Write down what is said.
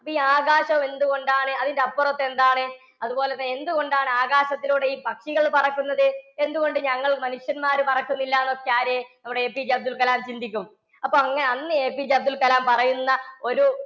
ഈ ആകാശമെന്തുകൊണ്ടാണ്? അതിന്‍ന്റെ അപ്പുറത്തെന്താണ്? അതുപോലെതന്നെ എന്തുകൊണ്ടാണ് ആകാശത്തിലൂടെ ഈ പക്ഷികള്‍ പറക്കുന്നത്? എന്തുകൊണ്ട് ഞങ്ങള്‍ മനുഷ്യന്മാര് പറക്കുന്നില്ലാന്നൊക്കെ ആര്, നമ്മുടെ APJ അബ്ദുള്‍കലാം ചിന്തിക്കും. അപ്പൊ അങ്ങ~ അന്ന് APJ അബ്ദുള്‍കലാം പറയുന്ന ഒരു